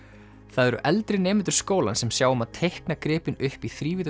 það eru eldri nemendur skólans sem sjá um að teikna gripinn upp í